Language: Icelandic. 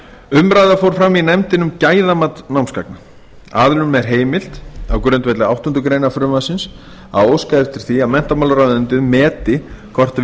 umræða fór fram í nefndinni um gæðamat námsgagna aðilum er heimilt á grundvelli áttundu greinar frumvarpsins að óska eftir því að menntamálaráðuneytið meti hvort